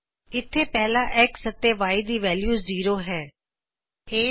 ਇਥੇ ਪਹਿਲਾ X ਅਤੇ Y ਦੀ ਵੈਲਯੂ ਜ਼ੀਰੋ ਸਿਫਰ ਹੈ